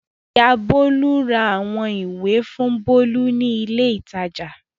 Ìyá Bólú ra àwọn ìwé fún Bólú ní ilé-ìtajà.